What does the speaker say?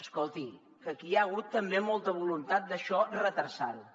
escolti que aquí hi ha hagut també molta voluntat de això endarrerir ho